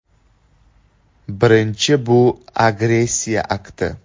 Birinchi bu agressiya akti.